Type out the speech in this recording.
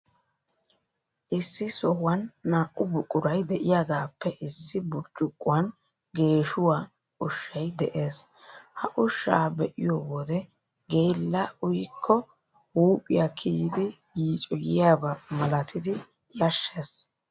Issi sohuwan naa''u buquray de'iyaagaappe issi burccuqquwan geeshuwaa ushshay de'ees. Ha ushshaa be'iyoo wode, geella uyikko huuphiyaa kiyidi yiicoyiyaaba malatidi yashshees.